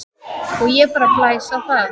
Og ég bara blæs á það.